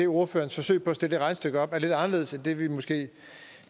ordførerens forsøg på at stille det regnestykke op er lidt anderledes end det vi måske